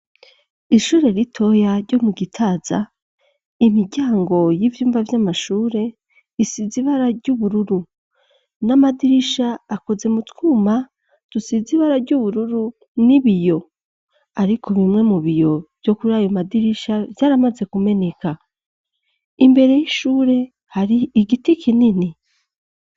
Ishure ritoya ryo mu Gitaza imiryango y'ivyumba vy'amashure isize ibara ry'ubururu; n'amadirisha akoze mu twuma tusize ibara ry'ubururu n'ibiyo. Ariko bimwe mu biyo vyo kuri ayo madirisha vyaramaze kumeneka. Imbere y'ishure hari igiti kinini.